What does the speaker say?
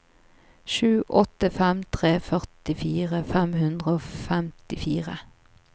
sju åtte fem tre førtifire fem hundre og femtifire